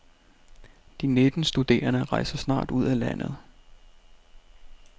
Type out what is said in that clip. De nitten studerende rejser snart ud af landet.